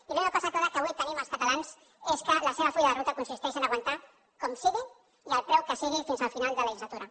i l’única cosa clara que avui tenim els catalans és que el seu full de ruta consisteix a aguantar com sigui i al preu que sigui fins al final de la legislatura